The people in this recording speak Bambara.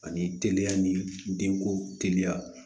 Ani teliya ni den ko teliya